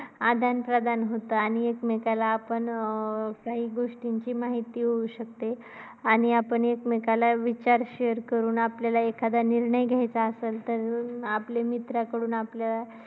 आदान प्रदान होते आणि एकमेकांना आपण अं काही गोष्टींची माहिती होऊ शकते आणि आपण एकमेकांना विचार share करून आपल्याला एखाद्या निर्णय घ्यायचा असेल, तर आपल्या मित्राकडून आपल्याला